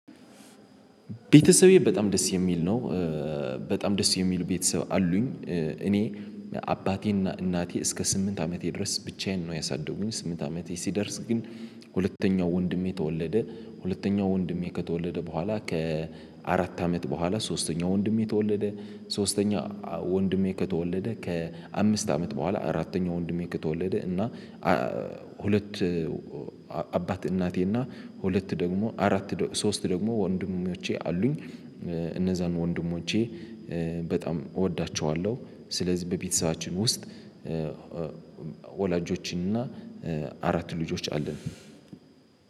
ቤተሰቤ በጣም ደስ የሚል ነው። በጣም ደስ የሚሉ ቤተሰብ አሉኝ። እኔ አባቴና እናቴ እስከ ስምንት አመቴ ድረስ ብቻዬን ነው ያሳደጉኝ። ስምንት አመቴ ሲደርስ ግን ሁለተኛው ወንድሜ ተወለደ። ሁለተኛው ወንድሜ ከተወለደ በኋላ ከአራት አመት በኋላ ሶስተኛው ወንድሜ ተወለደ። ሶስተኛ ወንድሜ ከተወለደ ከአምስት አመት በኋላ አራተኛው ወንድሜ ከተወለደ እና ሁለት አባት እናቴ እና ሁለት ደግሞ አራት ሶስት ደግሞ ወንድሞቼ አሉኝ። እነዛን ወንድሞቼ በጣም እወዳቸዋለሁ። ስለዚህ በቤተሰባችን ውስጥ ወላጆችን እና አራት ልጆች አለን።